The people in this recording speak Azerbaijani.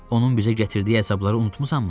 Onun bizə gətirdiyi əzabları unutmusanmı?